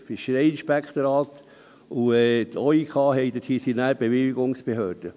Das Fischereiinspektorat und der OIK sind dann die Bewilligungsbehörden.